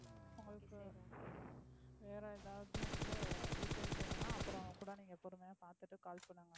உங்களுக்கு வேற ஏதாவது வந்து details வேணும்னா அப்பறம் கூட நீங்க பொரறுமையா பாத்துட்டு call பண்ணுங்க.